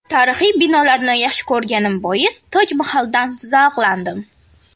Tarixiy binolarni yaxshi ko‘rganim bois Toj Mahaldan zavqlandim.